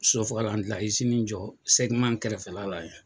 Sosofaga jɔ kɛrɛfɛla la yan.